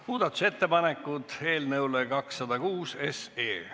Muudatusettepanekud eelnõule 206.